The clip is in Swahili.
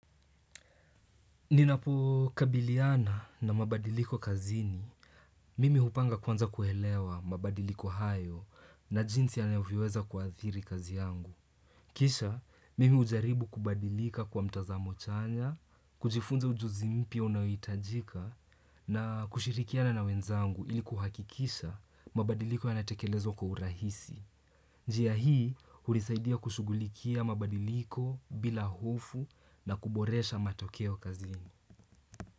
Ninapokabiliana na mabadiliko kazini, mimi hupanga kwanza kuelewa mabadiliko hayo na jinsi yanavyoweza kuadhiri kazi yangu. Kisha, mimi hujaribu kubadilika kwa mtazamo chanya, kujifunza ujuzi mpya unaohitajika na kushirikiana na wenzangu ilikuhakikisha mabadiliko yanatekelezwa kwa urahisi. Njia hii, hulisaidia kushugulikia mabadiliko bila hofu na kuboresha matokeo kazini.